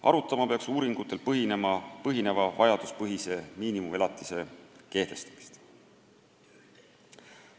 Arutama peaks uuringutel põhineva vajaduspõhise miinimumelatise kehtestamist.